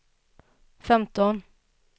femton